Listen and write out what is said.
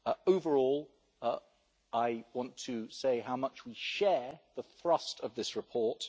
Overall, I want to say how much we share the thrust of this report.